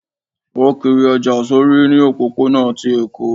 o kírí ojá sorí ní òpópó-ònà tí Eko